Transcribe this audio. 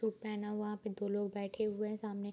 तो पहना हुआ वहां पे दो लोग बैठे हुए है सामने --